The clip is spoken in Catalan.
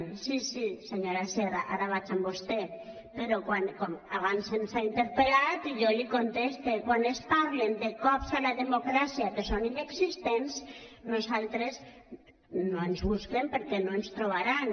sí sí senyora sierra ara vaig amb vostè però abans se’ns ha interpel·lat i jo li contesto quan es parla de cops a la democràcia que són inexistents a nosaltres no ens busquen perquè no ens hi trobaran